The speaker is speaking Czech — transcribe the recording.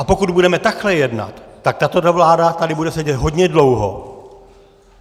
A pokud budeme takhle jednat, tak tato vláda tady bude sedět hodně dlouho.